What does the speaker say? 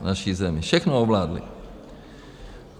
V naší zemi všechno ovládli.